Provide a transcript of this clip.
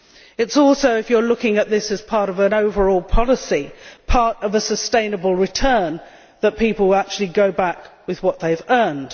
It is also if you are looking at this as part of an overall policy part of a sustainable return that people will actually go back with what they have earned.